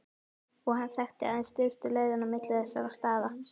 Og hann þekkti aðeins stystu leiðina á milli þessara staða.